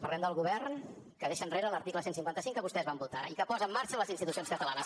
parlem del govern que deixa enrere l’article cent i cinquanta cinc que vostès van votar i que posa en marxa les institucions catalanes